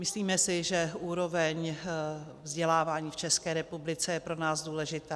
Myslíme si, že úroveň vzdělávání v České republice je pro nás důležitá.